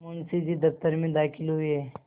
मुंशी जी दफ्तर में दाखिल हुए